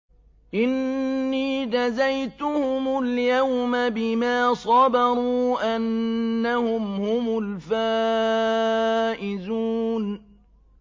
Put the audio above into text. إِنِّي جَزَيْتُهُمُ الْيَوْمَ بِمَا صَبَرُوا أَنَّهُمْ هُمُ الْفَائِزُونَ